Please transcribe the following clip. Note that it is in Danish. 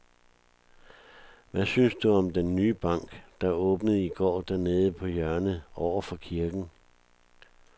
Hvad synes du om den nye bank, der åbnede i går dernede på hjørnet over for kirken?